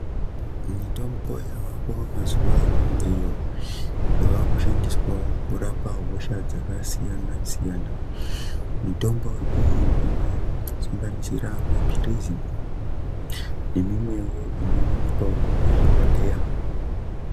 Mitombo yavako mazuwano iyo yakushandiswawo kurapa hosha dzakasiyana siyana mitombo iyi inosanganisira mapirizi nemimwewo inowanikwawo muzvibhedhleya.